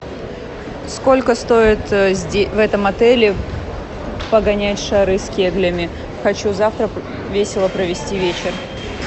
сколько стоит в этом отеле погонять шары с кеглями хочу завтра весело провести вечер